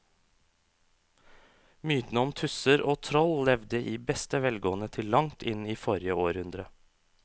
Mytene om tusser og troll levde i beste velgående til langt inn i forrige århundre.